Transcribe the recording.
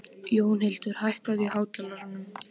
Jónhildur, hækkaðu í hátalaranum.